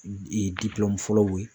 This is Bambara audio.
fɔlɔw ye.